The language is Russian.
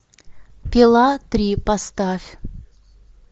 пила три поставь